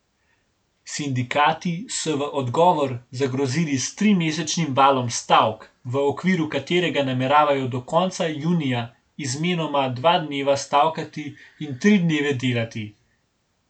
Sindikati so v odgovor zagrozili s trimesečnim valom stavk, v okviru katerega nameravajo do konca junija izmenoma dva dneva stavkati in tri dneve delati.